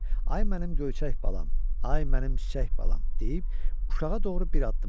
Ay mənim göyçək balam, ay mənim çiçək balam deyib, uşağa doğru bir addım atdı.